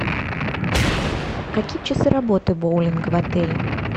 какие часы работы боулинга в отеле